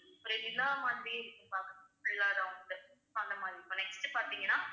ஒரு நிலா மாதிரி இருக்கும் பாக்க full அ round உ அந்த மாதிரி இப்ப next பார்த்தீங்கன்னா